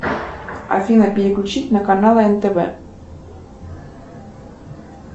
афина переключить на канал нтв